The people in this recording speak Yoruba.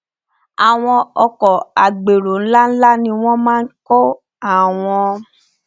àwọn ọkọ agbérò nlá nlá ni wọn máa nkó àwọn